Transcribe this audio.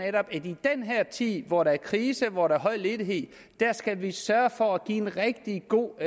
at i den her tid hvor der er krise og hvor der er høj ledighed skal vi sørge for at give en rigtig god